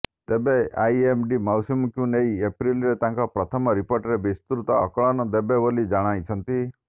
ତେବେ ଆଇଏମଡି ମୌସୁମୀକୁ ନେଇ ଏପ୍ରିଲରେ ତାଙ୍କର ପ୍ରଥମ ରିପୋର୍ଟରେ ବିସ୍ତୃତ ଆକଳନ ଦେବେ ବୋଲି ଜଣାଇଛନ୍ତି